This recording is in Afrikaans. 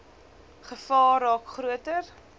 gevaar raak groter